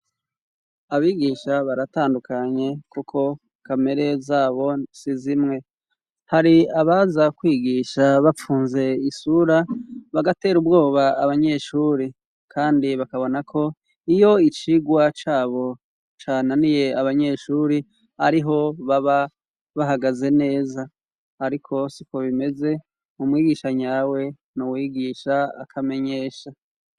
Abigisha baratandukanye kuko kamere zabo nsi zimwe, hari abaza kwigisha bapfunze isura, bagatera ubwoba abanyeshuri, kandi bakabona ko iyo icigwa cabo cananiye abanyeshuri ,ariho baba bahagaze neza ,ariko siko bimeze, umwigisha nyawe n'uwigisha akamenyesha.